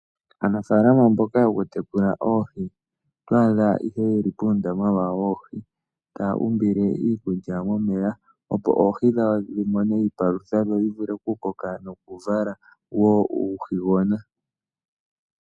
Aanafaalama mboka yoku tekula oohi oto adha ihe yeli poondama dhawo dhoohi. Taya umbile iikulya momeya opo oohi dhawo dhi mone iipalutha dho dhi vule oku koka noku vala uuhigona.